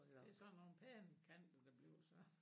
Det sådan nogen pæne kanter det bliver så